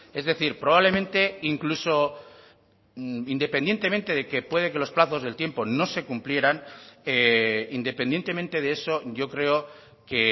es decir probablemente incluso independientemente de que puede que los plazos del tiempo no se cumplieran independientemente de eso yo creo que